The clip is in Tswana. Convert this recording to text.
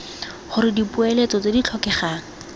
gore dipoeletso tse di tlhokegang